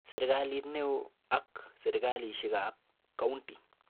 Serikalit neoo ak serikalishekab county